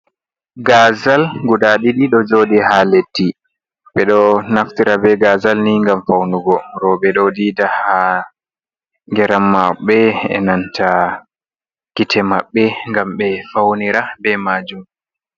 Gazal guda ɗiɗi ɗo joɗi ha leddi. Ɓeɗo naftira be gazal ni ngam faunugo. Roɓe ɗo dida ha geram maɓɓe e'nanta gite maɓɓe ngam ɓe faunira be majum.